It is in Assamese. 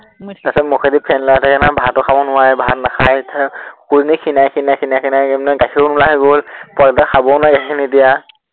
মুখেদি ফেন ওলাই থাকে নহয়, ভাতো খাব নোৱাৰে, ভাত নাখায়। তাৰপিছত কুকুৰজনী ক্ষীণাই ক্ষীণাই ক্ষীণাই ক্ষীণাই এৰ মানে গাখীৰোো নোলাৱা হৈ গল, পোৱালীটোৱে খাবও নোৱাৰে গাখীৰখিনি এতিয়া